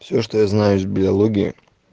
все что я знаю из биологии